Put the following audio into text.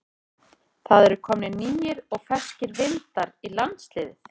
Það eru komnir nýir og ferskir vindar í landsliðið?